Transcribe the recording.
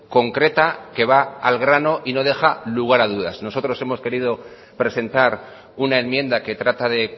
concreta que va al grano y no deja lugar a dudas nosotros hemos querido presentar una enmienda que trata de